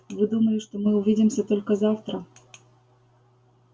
вы думали что мы увидимся только завтра